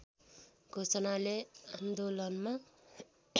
घोषणाले आन्दोलनमा